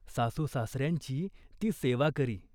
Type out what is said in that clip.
सासूसासर्यांची ती सेवा करी.